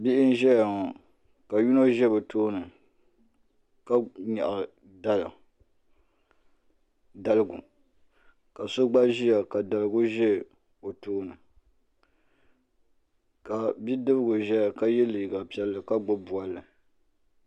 Bihi n ʒɛya ŋo ka yino ʒɛ bi tooni ka nyaɣa daligu ka so gba ʒiya ka daligu ʒɛ o tooni ka bidibgi ʒɛya ka yɛ liiga piɛlli ka gbubi bolli